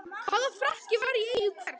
Hvaða frakki var í eigu hvers?